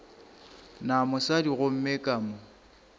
na mosadi gomme ka mo